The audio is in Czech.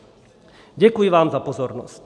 Děkuji vám za pozornost.